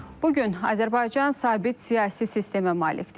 Bu gün Azərbaycan sabit siyasi sistemə malikdir.